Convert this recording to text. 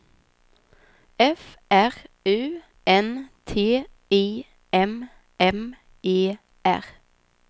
F R U N T I M M E R